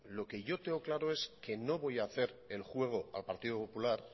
lo que yo tengo claro es que no voy hacer el juego al partido popular